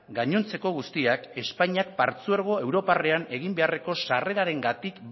gainontzeko guztiak espainiak partzuergo europarrean egin beharreko sarrerarengatik